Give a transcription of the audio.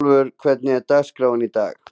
Ísólfur, hvernig er dagskráin í dag?